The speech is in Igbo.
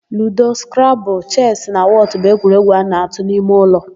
Ludo, skrabụlụ, chesị na wọtụ bụ egwuregwu a na-atụ n'ime ụlọ.